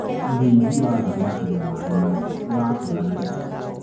ũrĩithi wa thamakĩ na maĩ matheru urakura naihenya